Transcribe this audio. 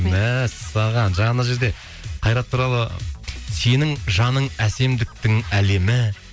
мәссаған жаңа жерде қайрат туралы сенің жаның әсемдіктің әлемі